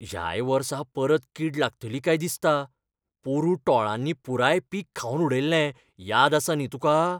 ह्याय वर्सा परत कीड लागतली काय दिसता. पोरूं टोळांनी पुराय पीक खावन उडयल्लें याद आसा न्ही तुका?